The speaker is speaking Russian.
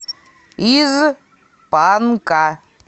из панка